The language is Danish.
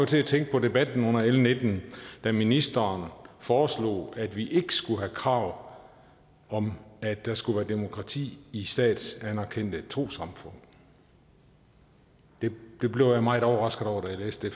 til at tænke på debatten under l nitten da ministeren foreslog at vi ikke skulle have krav om at der skal være demokrati i statsanerkendte trossamfund det blev jeg meget overrasket over da jeg læste